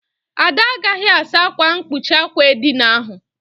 Ada agaghị asa ákwà mkpuchi àkwà edina ahụ.